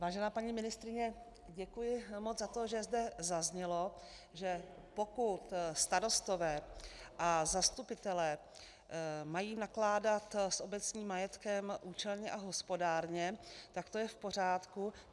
Vážená paní ministryně, děkuji moc za to, že zde zaznělo, že pokud starostové a zastupitelé mají nakládat s obecním majetkem účelně a hospodárně, tak to je v pořádku.